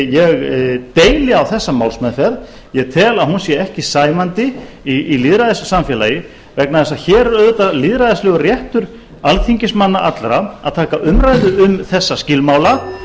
ég deili á þessa málsmeðferð ég tel að hún sé ekki sæmandi í lýðræðissamfélagi vegna þess að hér er auðvitað lýðræðislegur réttur alþingismanna allra að taka umræðu um þessa skilmála